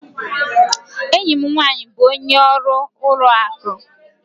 Enyi m nwanyị bụ onye ọrụ ụlọ akụ